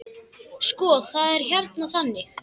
Sko, það er hérna þannig.